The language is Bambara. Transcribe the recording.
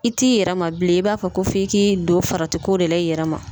I t'i yɛrɛ ma bilen ,i b'a fɔ ko f'i k'i don farati ko de la i yɛrɛ ma.